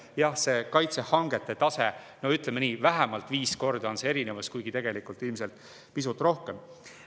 Jah, selles kaitsehangete tasemes on erinevus, ütleme nii, vähemalt viis korda, tegelikult ilmselt pisut rohkem.